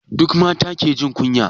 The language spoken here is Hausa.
Duka mata ke jin kunya?